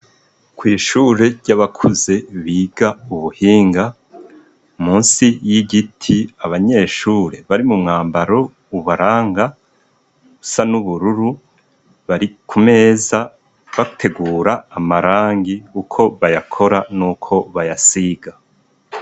Kw'ishure ry'abakuze biga ubuhinga. Munsi y'igiti, abanyeshure bari mu mwambaro ubaranga usa n'ubururu. Bari ku meza bategura amarangi, uko bayakora n'uko bayasiga.